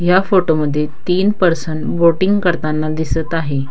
या फोटो मध्ये तीन पर्सन बोटिंग करताना दिसत आहे.